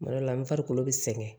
Kuma dɔ la n farikolo bɛ sɛgɛn